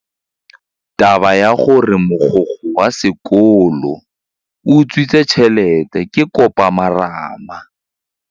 Taba ya gore mogokgo wa sekolo o utswitse tšhelete ke khupamarama.